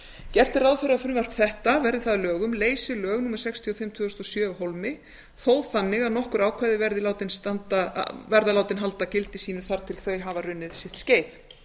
gert er ráð fyrir að frumvarp þetta verði það að lögum leysi lög númer sextíu og fimm tvö þúsund og sjö af hólmi þó þannig að nokkur ákvæði verði látin halda gildi sínu þar til þau hafa runnið sitt